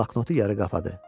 Bloknotu yarı qapadı.